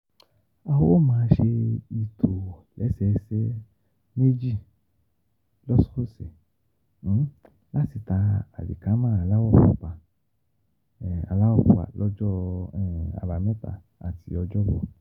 A ó máa ṣe ìtòlẹ́sẹẹsẹ méjì lọ́sọ̀ọ̀sẹ̀ láti ta àlìkámà aláwọ̀ pupa, aláwọ̀ pupa, lọ́jọ́ Àbámẹ́ta àti Ọjọ́bọ.